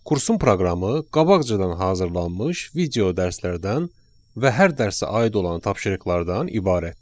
Kursun proqramı qabaqcadan hazırlanmış video dərslərdən və hər dərsə aid olan tapşırıqlardan ibarətdir.